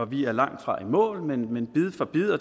vi er langtfra i mål men man